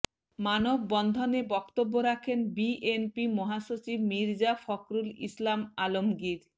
মানববন্ধনে বক্তব্য রাখেন বিএনপি মহাসচিব মির্জা ফখরুল ইসলাম আলমগীর